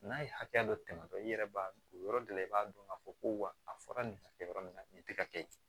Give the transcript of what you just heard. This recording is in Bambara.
N'a ye hakɛya dɔ tɛmɛ dɔrɔn i yɛrɛ b'a dɔn o yɔrɔ de la i b'a dɔn k'a fɔ ko wa a fɔra nin hakɛ yɔrɔ min na nin tɛ ka kɛ